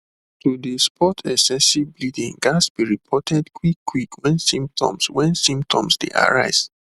to dey spot excessive bleeding ghats be reported quick quick wen symptoms wen symptoms dey arise